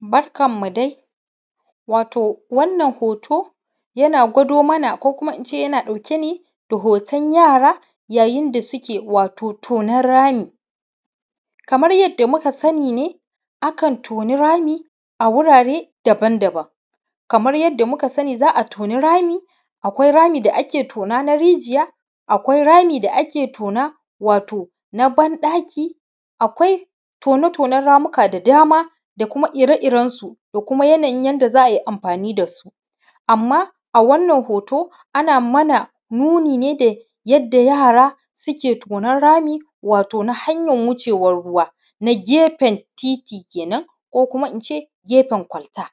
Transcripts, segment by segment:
Barkanmu dai. Wato wannan hoto, yana gwado mana ko kuma in ce yana ɗauke ne da hoton yara, yayin da suke wato tonon rami. Kamar yadda muka sani ne, a kan toni rami a wurare daban daban. Kamar yadda muka sani za a toni rami, akwai rami da ake tona na rijiya, akwai rami da ake tona wato na ban ɗaki, akwai tone tonen ramuka da dama da kuma ire irensu da kuma yanayin yanda za a yi amfani da su. Amma a wannan hoto, ana mana nuni ne da yadda yara suke tonon rami wato na hanyar wucewar ruwa, na gefen titi kenan ko kuma in ce gefen kwalta,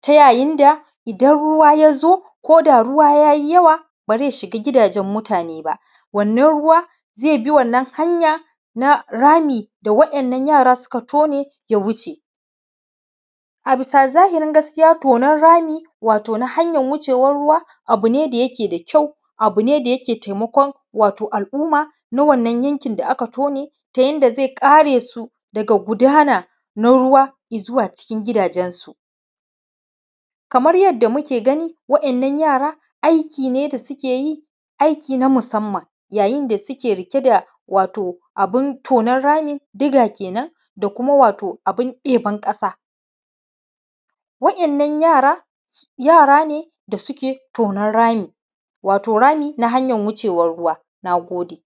ta yayin da idan ruwa ya zo, ko da ruwa ya yi yawa, ba zai shiga gidajen mutane ba. Wannan ruwa, zai bi wannan hanya na rami da waɗannan yara suka tone ya wuce. A bisa zahirin gaskiya, tonen rami wato na hanyar wucewar ruwa abu ne mai kyau, abu ne da yake taimakon wato al’umma na wannan yankin da aka tone tone ta yanda zai kare su daga gudana na ruwa i zuwa cikin gidajensu. Kamar yadda muke gani, waɗannan yara, aiki ne da suke yi, aiki na musamman, yayin da suke riƙe da wato abin tonen rami, digger kenan, da kuma wato abin ɗeban ƙasa. waɗannan yara, yara ne da suke tonen rami, wato rami na hanyan wucewar ruwa. Na gode.